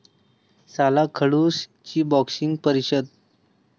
साला खडूस'ची 'बॉक्सिंग' परिषद